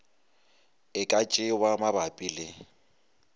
e ka tšewa mabapi le